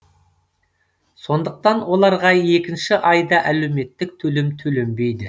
сондықтан оларға екінші айда әлеуметтік төлем төленбейді